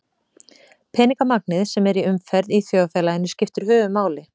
Peningamagnið sem er í umferð í þjóðfélaginu skiptir höfuðmáli.